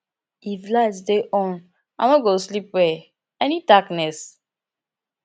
if light dey on i no go sleep well i need darkness